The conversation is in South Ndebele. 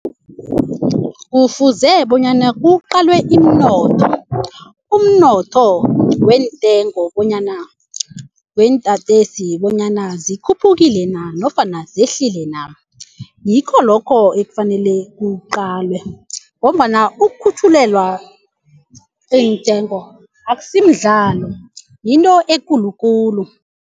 Kufuze bonyana kuqalwe iminotho umnotho weentengo bonyana weentatezi bonyana zikhuphukile na nofana zehlile na. Ngikho lokho okufanele kuqalwe ngombana ukukhutjhulelwa iintengo akusimdlalo yinto ekulukulu.